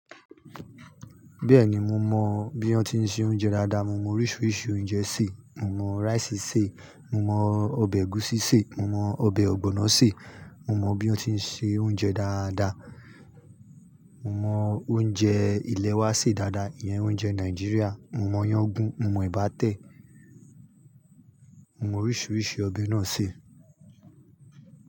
Bẹ́ẹ̀ni mo mọ bí wọ́n ti ń se oúnjẹ dáadáa. Mo mọ oríṣiríṣi oúnjẹ sè. Mo mọ rice sè, mo mọ ọbẹ̀ ẹ̀gúsí sè, mo mọ ọbẹ̀ ọ̀gbọ̀nọ́ sè. Mo mọ bí wọ́n ti ń se oúnjẹ dáadáa. Mo mọ oúnjẹ ilẹ́ wa sè dáadáa, ìyẹn oúnjẹ Nàìjíríà. Mo mọ yán güún, mo mọ ebà tẹ̀, mo mọ oríṣiríṣi ọbẹ̀ náà sè.